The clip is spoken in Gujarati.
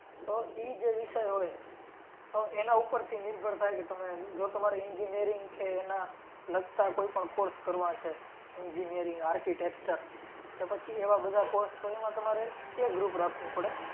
તો ઈ જે વિષય હોય તો એના ઉપરથી નિર્ભર થાય કે તમે જો તમારે engineering કે એનાં લગતાં કોઈ પણ course કરવા છે. Engineering Architecture તો પછી એવા બધા course તો એમાં તમારે A group રાખવું પડે.